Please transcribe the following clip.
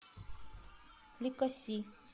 ликаси